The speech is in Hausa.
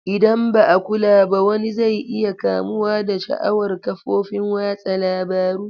Idan ba a kula ba wani zai iya kamuwa da sha'awar ƙafofin watsa labaru.